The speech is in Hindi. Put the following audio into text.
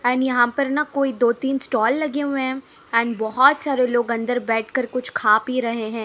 एंड यहां पर ना कोई दो तीन स्टाल लगे हुए हैं एंड बहोत सारे लोग अंदर बैठकर कुछ खा पी रहे हैं।